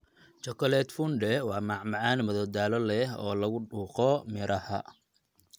Chocolate fondue waa macmacaan madadaalo leh oo lagu dhuuqo midhaha.